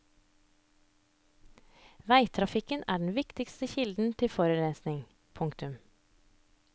Veitrafikken er den viktigste kilden til forurensningen. punktum